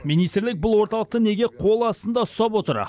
министрлік бұл орталықты неге қол астында ұстап отыр